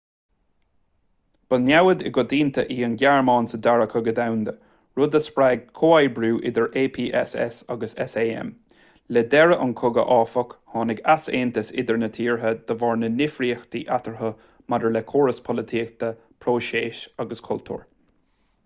ba namhaid i gcoitinne í an ghearmáin sa dara cogadh domhanda rud a spreag comhoibriú idir apss agus sam le deireadh an chogaidh áfach tháinig easaontas idir na tíortha de bharr na ndifríochtaí eatarthu maidir le córas polaitíochta próiseas agus cultúr